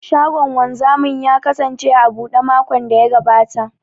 Shagon wanzamin ya kasance a buɗe makon da ya gabata.